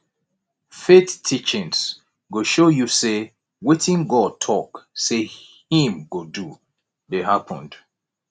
faith teachings go show yu say wetin god talk say im go do dey happened